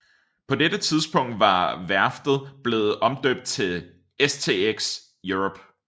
På dette tidspunkt var værftet blevet omdøbt til STX Europe